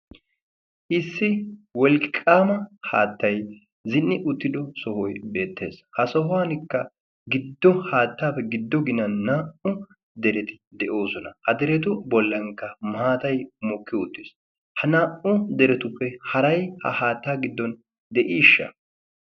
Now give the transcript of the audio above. Issi wolqqaama haattay zi'ni uttido sohoy beettees .Ha sohuwankka giddo haattaappe giddo ginan naa'u dereti de'oosona. Ha deretu bollankka maatay mokki uttiis. Ha naa'u deretuppe haray ha haattaa giddon de'iishsha?